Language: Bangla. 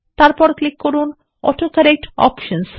তারপরএ ক্লিক করুন অটোকরেক্ট অপশনস